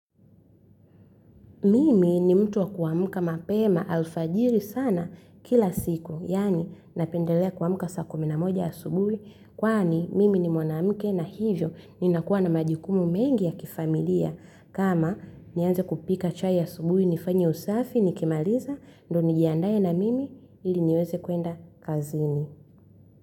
Mimi ni mtu wa kuamka mapema alfajiri sana, kila siku. Yaani napendelea kuamka saa kumi na moja asubuhi. Kwani mimi ni mwanamke na hivyo ninakuwa na majukumu mengi ya kifamilia. Kama nianze kupika chai ya asubuhi, nifanye usafi, nikimaliza ndio nijiandae na mimi ili niweze kwenda kazini.